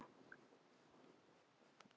Bíddu róleg!